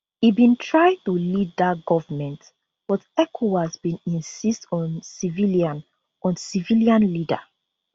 e bin try to lead dat govment but ecowas bin insist on civilian on civilian leader